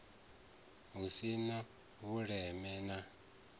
hu si na vhuleme na